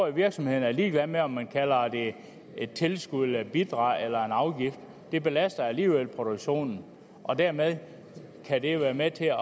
at virksomhederne er ligeglade med om man kalder det et tilskud eller et bidrag eller en afgift det belaster alligevel produktionen og dermed kan det være med til at